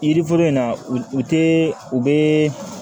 Yiriforo in na u tɛ u bɛ